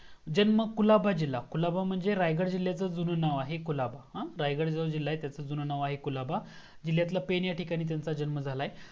जन्म कुलाबा जिल्हा कुलाबा म्हणजे रायगड जिल्याचा जुना नाव आहे कुलाबा हा रायगडा जो जिल्या त्याचा जुना नाव आहे कुलाबा जिल्हयातील पेन एथे त्यांचा जन्म झालाय